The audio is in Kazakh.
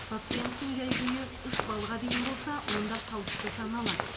пациенттің жай күйі үш баллға дейін болса онда қалыпты саналады